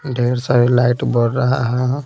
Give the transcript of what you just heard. ढेर सारी लाइट बर रहा है।